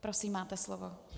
Prosím, máte slovo.